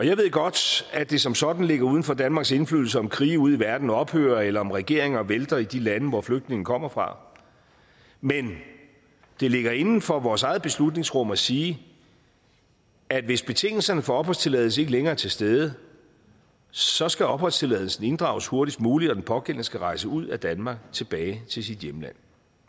jeg ved godt at det som sådan ligger uden for danmarks indflydelse om krige ude i verden ophører eller om regeringer vælter i de lande hvor flygtninge kommer fra men det ligger inden for vores eget beslutningsrum at sige at hvis betingelserne for opholdstilladelse ikke længere er til stede så skal opholdstilladelsen inddrages hurtigst muligt og den pågældende skal rejse ud af danmark og tilbage til sit hjemland